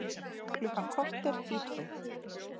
Klukkan korter í tvö